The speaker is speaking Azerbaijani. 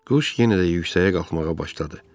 Quş yenə də yüksəyə qalxmağa başladı.